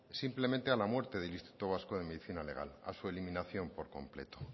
simplemente a la muerte del instituto vasco de medicina legal a su eliminación por completo